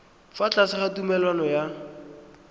fa tlase ga tumalano ya